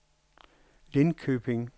Lindköping